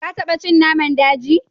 Ka taba cin naman daji?